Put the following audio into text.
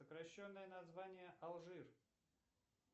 сокращенное название алжир